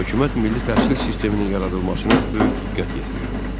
Hökumət milli təhsil sisteminin yaradılmasına böyük diqqət yetirirdi.